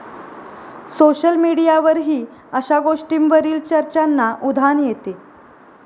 Social मिडीयावरही अशा गोष्टींवरील चर्चांना उधाण येते.